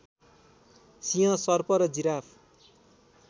सिंह सर्प र जिराफ